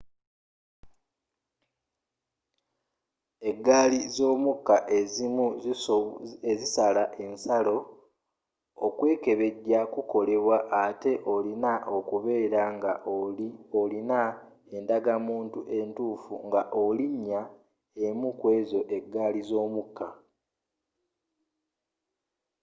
eggali z'omukka ezimu ezisala ensalo okwekebejja kukolebwa atte olina okubeera nga olina endagamunttu entuufu nga olinya emu kwezo eggali z'omukka